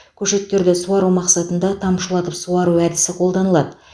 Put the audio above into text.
көшеттерді суару мақсатында тамшылатып суару әдісі қолданылады